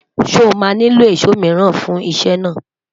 sọ má nilo ìsọ míràn fún isé naa?